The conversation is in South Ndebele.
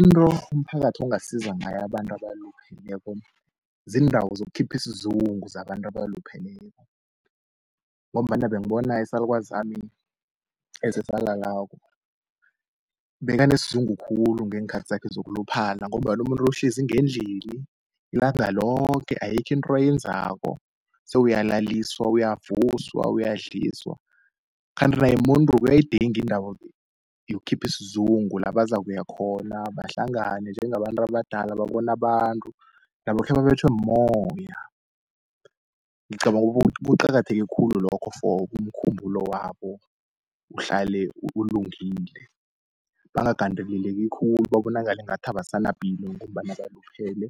Into umphakathi ongasiza ngayo abantu abalupheleko ziindawo zokukhipha isizungu zabantu abalupheleko, ngombana bengibona isalukazi sami esesalalako bekanesizungu khulu ngeenkhathi zakhe zokuluphala, ngombana umuntu lo uhlezi ngendlini ilanga loke ayikho into ayenzako sewuyalaliswa, uyavuswa, uyadliswa. Kanti naye mumuntu uyayidinga iindawo yokukhipha isizungu la bazakuya khona bahlangane njengabantu abadala babone abantu nabo khebabetjhwe mumoya. Ngicabanga ukuthi kuqakatheke khulu lokho for umkhumbulo wabo uhlale ulungile, bangagandeleleki khulu babonakale ngathi abasanapilo, ngombana baluphele